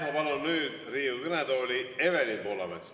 Ma palun nüüd Riigikogu kõnetooli Evelin Poolametsa.